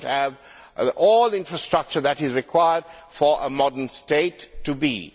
They do not have the infrastructure that is required for a modern state to be'.